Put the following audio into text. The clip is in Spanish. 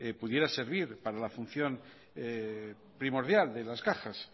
pudiera servir para la función primordial de las cajas